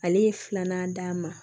Ale ye filanan d'a ma